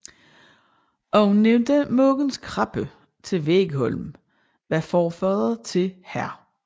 Ovennævnte Mogens Krabbe til Vegholm var farfader til hr